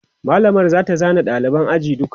mallamar zata zana ɗaliban ajin duka